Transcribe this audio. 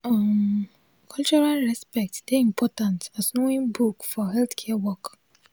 um cultural respect dey important as knowing book for healthcare work